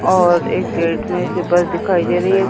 और एक गेट में से बस दिखाई दे रही है।